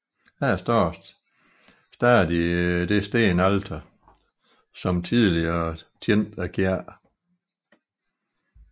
Her står stadig det stenalter som tidligere tjente kirken